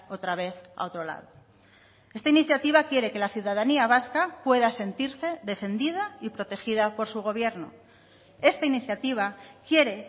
otra vez a otro lado esta iniciativa quiere que la ciudadanía vasca pueda sentirse defendida y protegida por su gobierno esta iniciativa quiere